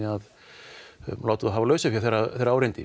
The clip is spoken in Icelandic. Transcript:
að láta þá hafa lausafé þegar á reyndi